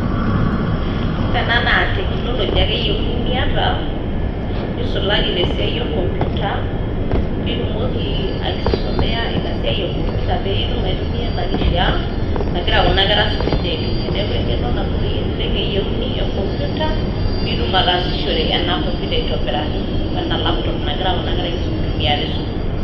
Ore ena naa technology ake eyeiuni niata nisulaki te siai e computer ,pitumoki aisomea esiai e computer pe itum aitumia ina kishaa nagira kuna kera aitumia. niaku engeno nagut eyieuni e computer pitum ataasishore ena computer ena computer aitobiraki wena laptop nagira kuna kera aitumia te sukuul.